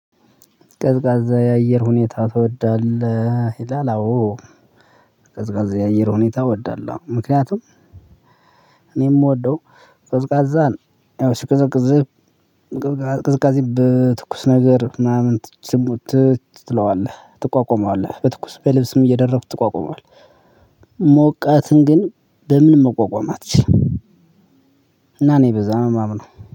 ቀዝቃዛ የአየር ሁኔታ ትወዳለህ ይላል? አዎ። ቀዝቃዛ የአየር ሁኔታ እወዳለው ምክንያቱም እኔ የምወደው ቀዝቃዛን ያው ሲቀዘቅዝቅዝ በትኩስ ነገር ምናምን ትችል ትለዋለህ ትቋቋመዋለህ በትኩስ በልብስም እየደረግክ ትቋቋመዋለህ ሞቃትን ግን በምንም መቋቋም አትችልም። እና እኔ በዛ ነው የማምነው